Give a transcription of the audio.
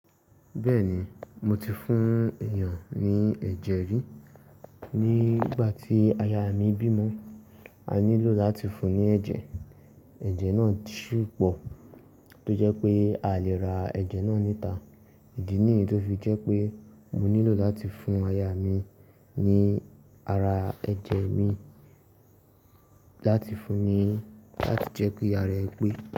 Bẹ́ẹ̀ ni, mo ti fún èèyàn ní ẹ̀jẹ̀ rí. Ní ìgbà tí aya mi bímọ, a nílò láti fún un ní ẹ̀jẹ̀. Ẹ̀jẹ̀ náà sù pọ̀ tó jẹ́ pé a lè ra ẹ̀jẹ̀ náà níta. Ìdí nìyí tó fi jẹ́ pé mo nílò láti fún aya mi ní ara ẹ̀jẹ̀ mi láti fún ni láti jẹ́ ki ará ẹ̀ pé.